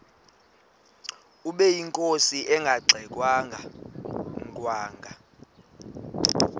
ubeyinkosi engangxe ngwanga